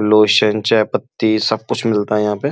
Lotion चायपत्ती सब कुछ मिलता है यहाँ पे।